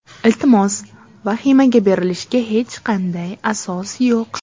Iltimos, vahimaga berilishga hech qanday asos yo‘q.